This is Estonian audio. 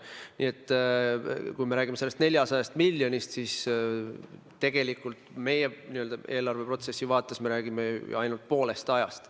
Nii et kui me räägime sellest 400 miljonist, siis me oma eelarveprotsessi vaates räägime ju ainult umbes poolest ajast.